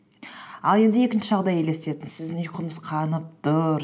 ал енді екінші жағдайды елестетіңіз сіздің ұйқыңыз қанып тұр